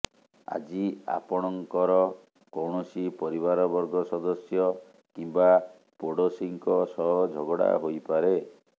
ଆଜି ଆପଣଙ୍କର କୌଣସି ପରିବାରବର୍ଗ ସଦସ୍ୟ କିମ୍ବା ପୋଡଶୀଙ୍କ ସହ ଝଗଡ଼ା ହୋଇପାରେ